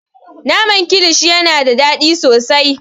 Naman kilishi yana da daɗi sosai.